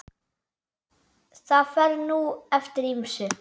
Það fer nú eftir ýmsu.